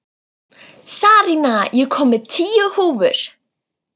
Sarína, ég kom með tíu húfur!